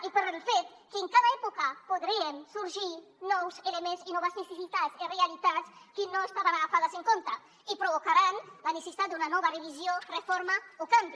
i pel fet que en cada època podrien sorgir nous elements i noves necessitats i realitats que no estaven tingudes en compte i provocaran la necessitat d’una nova revisió reforma o canvi